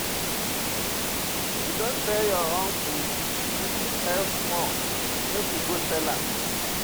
You don tell your uncle, e fit help small, make we go tell am.